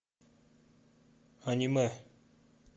аниме